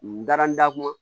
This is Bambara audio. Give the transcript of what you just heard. N dara n da kun